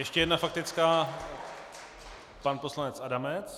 Ještě jedna faktická, pan poslanec Adamec.